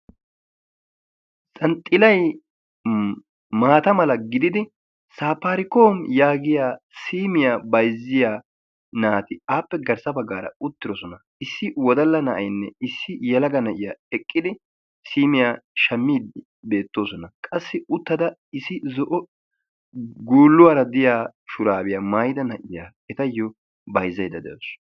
Jaanxilay maata mala gididi saapaarikom yaagettiyaa simiyaa bayzziyaa naati appe garssa baggara uttidosona. issi wodalla na'aynne issi yelaga na'iyaa eqqidi siiiyaa shammiidi beettooosona. qassi uttada issi zo'o guulluwaara diyaa shuraabiyaa maayida na'iyaa etayoo bayzzayda de'awus.